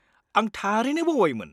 आं थारैनो बावबायमोन।